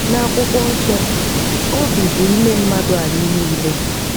N'akwụkwọ nsọ, obi bụ ime mmadụ anyị niile.